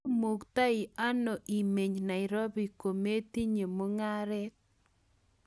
imuktei ano imeny Nairobi kometinye mung'aret?